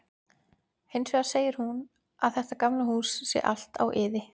Hins vegar segir hún að þetta gamla hús sé allt á iði.